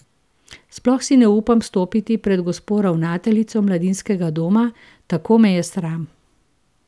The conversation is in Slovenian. Sploh si ne upam stopiti pred gospo ravnateljico Mladinskega doma, tako me je sram.